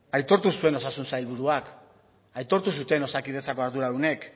aitortu zuen osasun sailburuak aitortu zuten osakidetzako arduradunek